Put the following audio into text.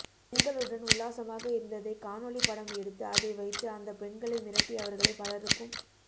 பெண்களுடன் உல்லாசமாக இருந் ததைக் காணொளிப் படம் எடுத்து அதை வைத்து அந்தப் பெண்களை மிரட்டி அவர்களை பலருக்கும்